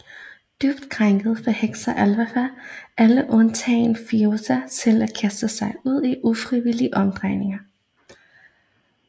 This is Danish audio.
Dybt krænket forhekser Elphaba alle undtagen Fiyero til at kaste sig ud i ufrivillige omdrejninger